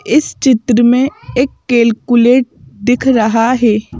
इस चित्र में एक कैलकुलेट दिख रहा है।